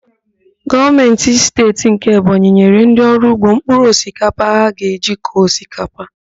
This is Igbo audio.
Gọọmentị Steeti nke Ebonyi nyere ndị ọrụ ugbo mpkụrụ osikapa ha ga-eji kọọ osikapa